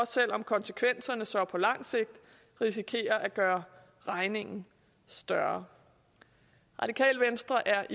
selv om konsekvenserne så på langt sigt risikerer at gøre regningen større radikale venstre er